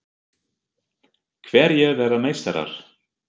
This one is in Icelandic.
Hverjir verða meistarar?